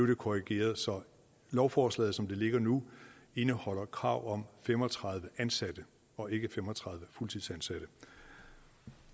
det korrigeret så lovforslaget som det ligger nu indeholder krav om fem og tredive ansatte og ikke fem og tredive fuldtidsansatte